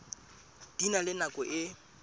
di na le nako e